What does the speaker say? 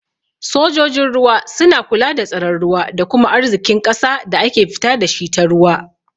Sojojin ruwa suna kula da tsaron ruwa da kuma arzikin ƙasa da ake fita dashi ta ruwa.